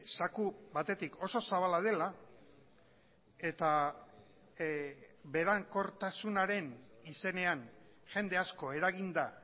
zaku batetik oso zabala dela eta berankortasunaren izenean jende asko eraginda